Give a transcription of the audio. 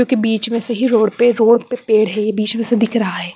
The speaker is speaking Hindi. जो कि बीच में से ही रोड पे रोड पे पेड़ है बीच में से दिख रहा है।